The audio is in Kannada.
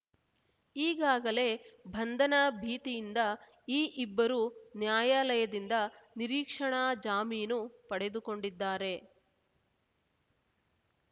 ಈಗಾಗಲೇ ಬಂಧನ ಭೀತಿಯಿಂದ ಈ ಇಬ್ಬರೂ ನ್ಯಾಯಾಲಯದಿಂದ ನಿರೀಕ್ಷಣಾ ಜಾಮೀನು ಪಡೆದುಕೊಂಡಿದ್ದಾರೆ